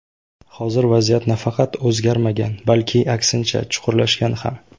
Hozir vaziyat nafaqat o‘zgarmagan, balki, aksincha, chuqurlashgan ham.